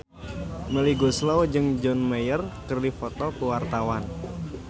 Melly Goeslaw jeung John Mayer keur dipoto ku wartawan